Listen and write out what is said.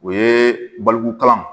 O ye balikukalan